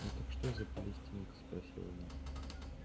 ну так что это за палестинка спросила настя